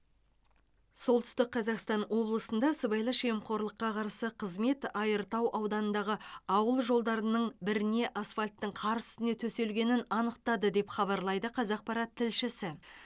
солтүстік қазақстан облысында сыбайлас жемқорлыққа қарсы қызмет айыртау ауданындағы ауыл жолдарының біріне асфальттің қар үстіне төселгенін анықтады деп хабарлайды қазақпарат тілшісі